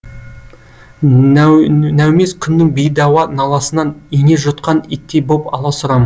нәумез күннің бейдауа наласынан ине жұтқан иттей боп аласұрам